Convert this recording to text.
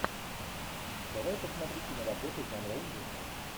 давай посмотрю киноработу жанра ужасы